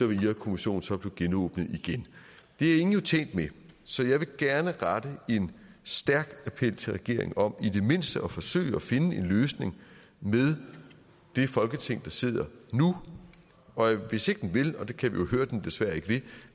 vil irakkommissionen så blive genåbnet det er ingen jo tjent med så jeg vil gerne rette en stærk appel til regeringen om i det mindste at forsøge at finde en løsning med det folketing der sidder nu og hvis ikke den vil og det kan vi jo høre den desværre ikke vil